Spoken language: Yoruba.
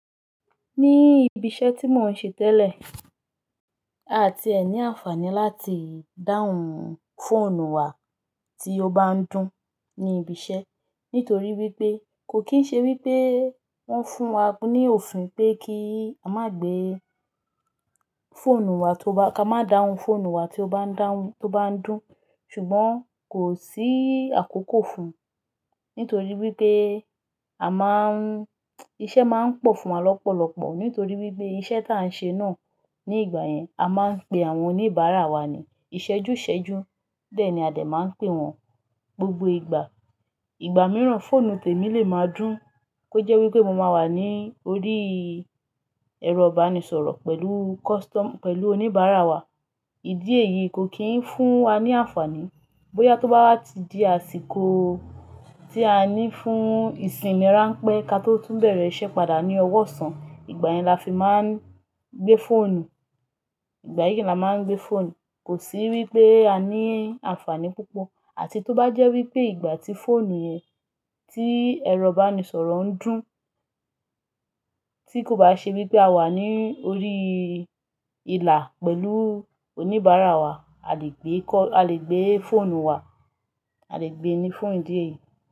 Ní ibi iṣẹ́ tí mò ń ṣe tẹ́lẹ̀, àti ẹ ní àǹfààní láti dáhùn fóònù wa tí ó bá ń dún ní ibi iṣẹ́. Nítorí wípé, kò kín ṣe wípé wón fún wa ní òfin pé kí a má gbé fóònù wa tó bá, ká má dáhùn fóònù wa tó bá ń dáhùn, tó bá ń dún. Ṣùgbọ́n kò sí àkókò fún, nítorí wípé a má ń, iṣẹ́ má ń pọ̀ fún wa lọ́pọ̀lọpọ̀. Nítorí wípé iṣẹ́ tá a ń ṣe náà ní ìgbà yẹn, a má ń pe àwọn oníbàárà wa ni ìṣẹ́jú ìṣẹ́jú. Dẹ́ẹ̀ni a dẹ̀ máa ń pè wọ́n gbogbo ìgbà. Ìgbà mìíràn fóònù tèmi lè máa dún, kó jẹ́ wípé mo máa wà ní orí ẹrọ ìbánisọ̀rọ̀ pẹ̀lú kọ́sítọ́mù, pẹ̀lú oníbàárà wa. Ìdí èyí kò kín fún wa ní àǹfààní. Bóyá tó bá wá ti di àsìkò tí a ní fún ìsinmi ráńpẹ́ ka tó tún bẹ̀rẹ̀ iṣẹ́ padà ní ọwọ́ ọ̀sán, ìgbà yẹn la fi máa ń gbé fóònù. Ìgbà yí la máa ń gbé fóònù. Kò sí wípé a ní àǹfààní púpọ̀. Àti tó bá jẹ́ wípé ìgbà tí fóònù yẹn, tí ẹrọ ìbánisọ̀rọ̀ ń dún, tí kò bá ṣe wípé a wà ní orí ìlà pẹ̀lú oníbàárà wa, a lè gbé kọ́, a lè gbé fóònù wa, a lè gbé e ní fún ìdí èyí.